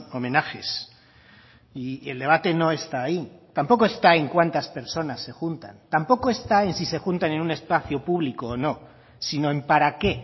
homenajes y el debate no está ahí tampoco está en cuántas personas se juntan tampoco está en si se juntan en un espacio público o no sino en para qué